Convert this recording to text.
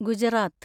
Gujarat